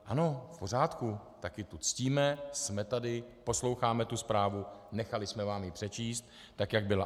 Ano, v pořádku, také to ctíme, jsme tady, posloucháme tu zprávu, nechali jsme vám ji přečíst, tak jak byla.